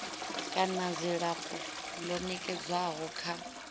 kana dzilafho ḽo nekedzwaho kha